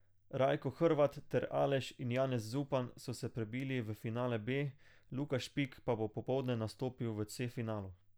Rajko Hrvat ter Aleš in Janez Zupan so se prebili v finale B, Luka Špik pa bo popoldne nastopil v C finalu.